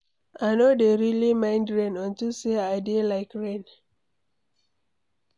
I no dey really mind rain unto say I dey like rain.